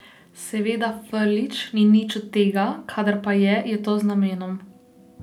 Seveda Frljić ni nič od tega, kadar pa je, je to z namenom.